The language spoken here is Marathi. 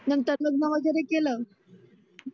नंतर लग्न वगैरे केलं.